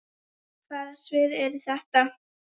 Hvaða svið eru þetta?